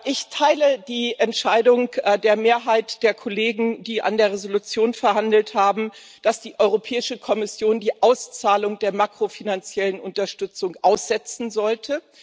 Ich teile die Entscheidung der Mehrheit der Kollegen, die über die Entschließung verhandelt haben, dass die Europäische Kommission die Auszahlung der makrofinanziellen Unterstützung aussetzen sollte.